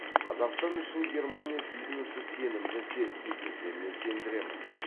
қазақстан үшін германия бизнесі сенімді серіктес екеніне сендіремін